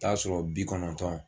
T'a sɔrɔ bi kɔnɔntɔn